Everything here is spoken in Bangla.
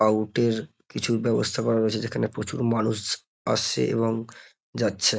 আউট - এর কিছু ব্যবস্থা করা রয়েছে যেখানে প্রচুর মানুষ আসছে এবং যাচ্ছে।